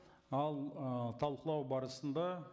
ал ы талқылау барысында